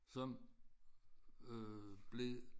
Som øh blev